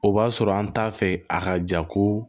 O b'a sɔrɔ an t'a fɛ a ka jago